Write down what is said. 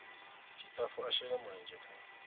tshitafu a shele mulenzhe kha